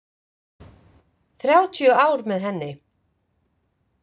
Þrjátíu ár með henni.